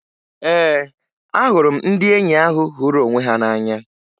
Ee, ahụrụ m ndị enyi ahụ hụrụ onwe ha n'anya